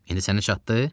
İndi sənə çatdı?